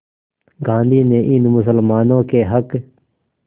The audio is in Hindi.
गांधी ने इन मुसलमानों के हक़